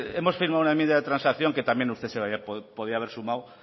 hemos firmado una enmienda de transacción que también usted se podía haber sumado